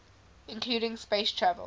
including space travel